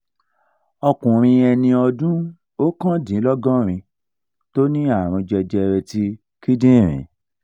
ọ́kùnrin eni ọdún okandinlogorin to ní àrùn jẹjẹrẹ ti kindinrin